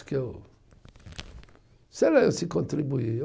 Que eu, sei lá se contribuí